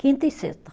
Quinta e sexta.